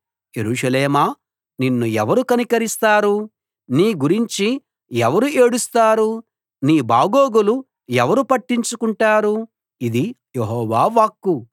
యెరూషలేమా నిన్ను ఎవరు కనికరిస్తారు నీ గురించి ఎవరు ఏడుస్తారు నీ బాగోగులు ఎవరు పట్టించుకుంటారు ఇది యెహోవా వాక్కు